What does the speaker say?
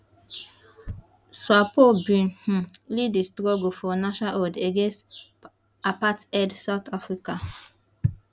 swapo bin um lead di struggle for nationhood against apartheid south africa